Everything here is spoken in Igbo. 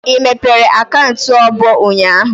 I mepere akaụntụ ọbụ ụnyaahụ?